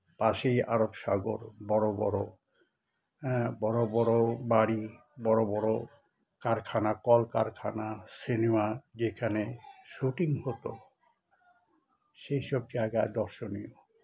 পাশেই আরব সাগর বড় বড় এএ বড় বড় বাড়ি বড় বড় কারখানা কলকারখানা cinema যেখানে shooting হত সেসব জায়গায় দর্শনের